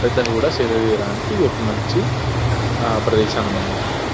పెద్దలు కూడా సేద తీరడానికి ఇదొక మంచి ఆ ప్రదేశాన్ని మనం అంట.